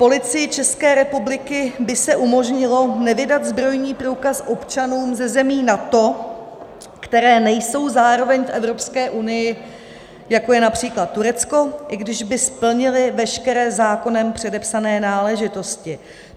Policii České republiky by se umožnilo nevydat zbrojní průkaz občanům ze zemí NATO, které nejsou zároveň v Evropské unii, jako je například Turecko, i když by splnili veškeré zákonem předepsané náležitosti.